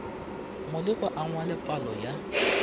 molekwa a ngwale palo ya